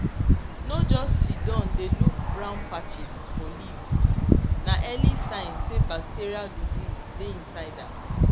no just siddon dey look brown patches for leaves na early sign say bacterial disease dey inside am